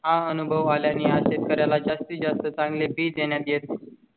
हा अनुभव आल्या ने आज शेतकर् याला जास्तीत जास्त चांगले बी देण्यात येते.